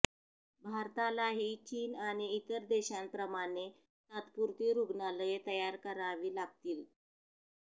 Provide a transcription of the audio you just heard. भारतालाही चीन आणि इतर देशांप्रमाणे तात्पुरती रुग्णालये तयार करावी लागतील